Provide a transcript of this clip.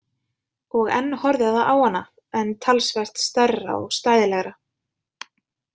Og enn horfði það á hana en talsvert stærra og stæðilegra.